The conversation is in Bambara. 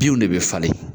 Binw de bɛ falen